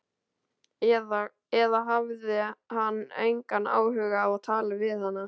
Eða hafði hann engan áhuga á að tala við hana?